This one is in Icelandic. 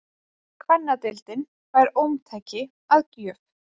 Kvennadeildin fær ómtæki að gjöf